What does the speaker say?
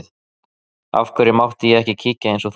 Af hverju mátti ég ekki kíkja eins og þú?